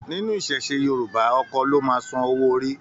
Nínú iṣẹṣe Yorùbá, Ọkọ lo máa sàn owó orí.